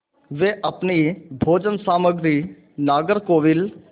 वे अपनी भोजन सामग्री नागरकोविल